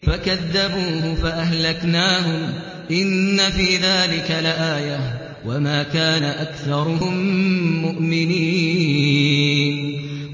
فَكَذَّبُوهُ فَأَهْلَكْنَاهُمْ ۗ إِنَّ فِي ذَٰلِكَ لَآيَةً ۖ وَمَا كَانَ أَكْثَرُهُم مُّؤْمِنِينَ